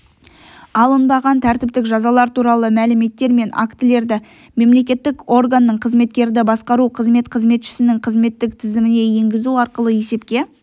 алынбаған тәртіптік жазалар туралы мәліметтер мен актілерді мемлекеттік органның қызметкерді басқару қызмет қызметшінің қызметтік тізіміне енгізу арқылы есепке